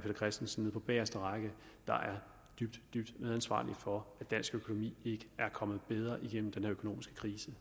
peter christensen på bageste række der er dybt dybt medansvarlige for at dansk økonomi ikke er kommet bedre gennem den økonomiske krise